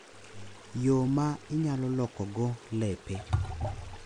Yo ma inyalo lokogo lepe.